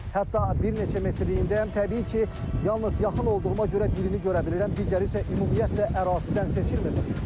Hətta bir neçə metirliyindəyəm, təbii ki, yalnız yaxın olduğuma görə birini görə bilirəm, digəri isə ümumiyyətlə ərazidən seçilmir.